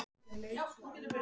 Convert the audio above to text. Að vera leikbrúða einhvers